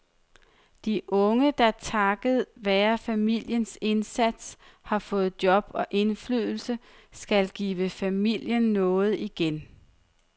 De unge, der takket være familiens indsats har fået job og indflydelse, skal give familien noget igen.